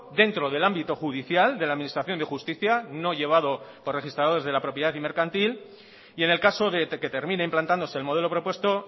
dentro del ámbito judicial de la administración de justicia no llevado por registradores de la propiedad y mercantil y en el caso de que termine implantándose el modelo propuesto